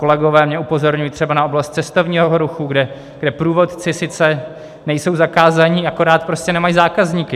Kolegové mě upozorňují třeba na oblast cestovního ruchu, kde průvodci sice nejsou zakázáni, akorát prostě nemají zákazníky.